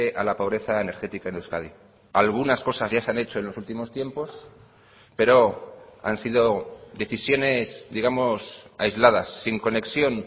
a la pobreza energética en euskadi algunas cosas ya se han hecho en los últimos tiempos pero han sido decisiones digamos aisladas sin conexión